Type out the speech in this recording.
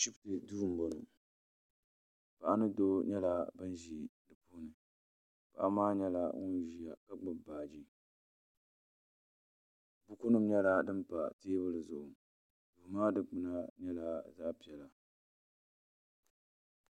Ashipti duu n boŋɔ paɣa ni doo nyɛla ban ʒi dipuuni paɣa maa nyɛla ŋun ʒia ka gbibi baaji buku nima nyɛla din pa teebuli zuɣu duu maa dikpina nyɛla zaɣa piɛla.